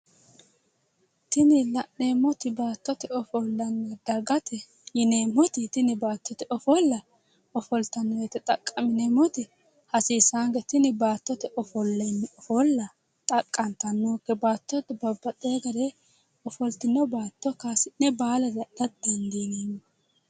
Tini la'neemmoti baattote ofollanna dagate yineemmoti tini baattote ofolla ofoltanno woyiite xaqqa'mineemmoti hasiissaanke tini baattote ofolla xaqqantano baattote babbaxxeyo gari ofoltino baatto kaasi'ne baalalre adha dandiineemmo